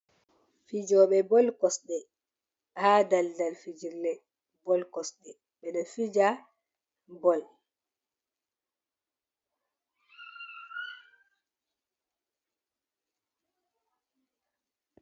Fijoɓe bol kosɗe ha daldal fijirle bol kosɗe ɓe ɗo fija bol.